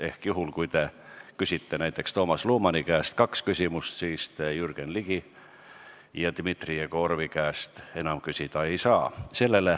Ehk juhul, kui te küsite näiteks Toomas Lumani käest kaks küsimust, siis te Jürgen Ligi ja Dmitri Jegorovi käest küsida ei saa.